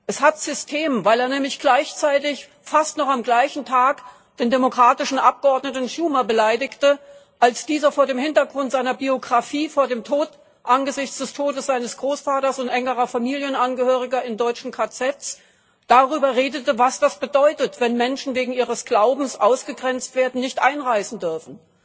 Es hat System, weil er nämlich gleichzeitig fast noch am gleichen Tag den demokratischen Abgeordneten Schumer beleidigte, als dieser vor dem Hintergrund seiner Biographie, angesichts des Todes seines Großvaters und enger Familienangehöriger in deutschen KZs, darüber redete, was das bedeutet, wenn Menschen wegen ihres Glaubens ausgegrenzt werden, nicht einreisen dürfen,